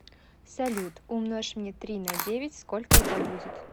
салют умножь мне три на девять сколько это будет